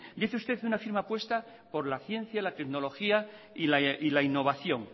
dice usted una firme apuesta por la ciencia tecnología y la innovación